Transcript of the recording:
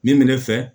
Min bɛ ne fɛ